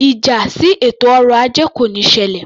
Ìjà sí ètò ọrọ ajé kò níí ṣẹlẹ̀